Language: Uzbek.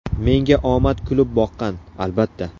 Menga omad kulib boqqan, albatta.